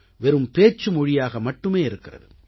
வெறும் பேச்சு மொழியாக மட்டுமே இருக்கிறது